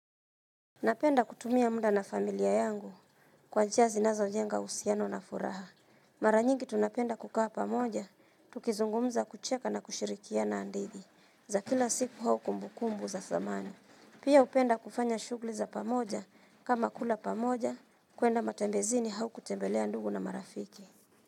Napenda kutumia muda na familia yangu kwa njia zinazo jenga uhusiano na furaha. Mara nyingi tunapenda kukaa pamoja, tukizungumza kucheka na kushirikiana hadithi. Za kila siku au kumbukumbu za zamani. Pia hupenda kufanya shughuli za pamoja kama kula pamoja kuenda matembezini au kutembelea ndugu na marafiki.